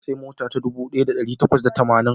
Na sayi mota ta dubu daya da dari takwas da tamanin